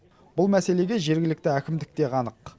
бұл мәселеге жергілікті әкімдік те қанық